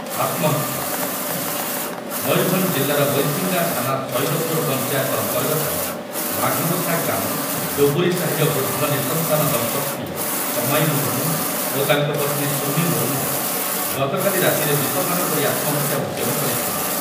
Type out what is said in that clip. ଆତ୍ମହତ୍ଯା, ମୟୂରଭଞ୍ଜ ଜିଲ୍ଲାର ବୈଶିଙ୍ଗା ଥାନା ଶଇଦପୁର ପଞ୍ଚାୟତ ଅନ୍ତର୍ଗତ ବାଘବସା ଗ୍ରାମ ଡୁବୁରିସାହିର ବୃଦ୍ଧ ନିଃସନ୍ତାନ ଦମ୍ପତ୍ତି ସମାଇ ମୁର୍ମୁ ଓ ତାଙ୍କ ପତ୍ନୀ ସୁମି ମୁର୍ମୁ ଗତକାଲି ରାତିରେ ବିଷପାନ କରି ଆତ୍ମହତ୍ୟା ଉଦ୍ୟମ କରିଥିଲେ ।